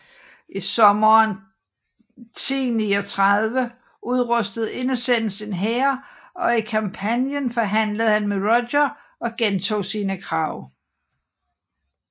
I sommeren 1039 udrustede Innocens en hær og i Campanien forhandlede han med Roger og gentog sine krav